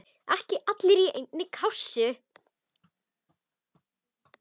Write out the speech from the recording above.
Ekki allir í einni kássu!